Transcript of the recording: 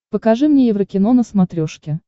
покажи мне еврокино на смотрешке